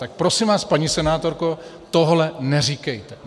Tak prosím vás, paní senátorko, tohle neříkejte.